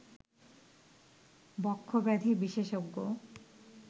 বক্ষব্যাধি বিশেষজ্ঞ